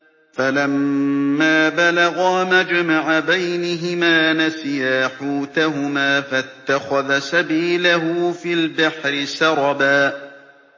فَلَمَّا بَلَغَا مَجْمَعَ بَيْنِهِمَا نَسِيَا حُوتَهُمَا فَاتَّخَذَ سَبِيلَهُ فِي الْبَحْرِ سَرَبًا